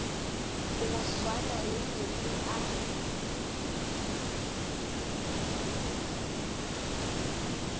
go swana le meetse a